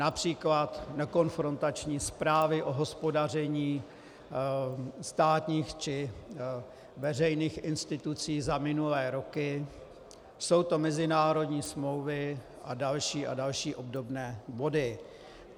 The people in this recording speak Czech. Například nekonfrontační zprávy o hospodaření státních či veřejných institucí za minulé roky, jsou to mezinárodní smlouvy a další a další obdobné body.